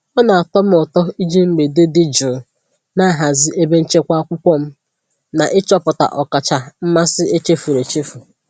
Ọ na-atọ m ụtọ iji mgbede dị jụụ na-ahazi ebe nchekwa akwụkwọ m na ịchọpụta ọkacha mmasị echefuru echefu.